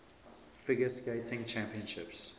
figure skating championships